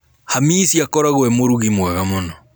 Hamisi akoragũo e mũrugi mwega mũno.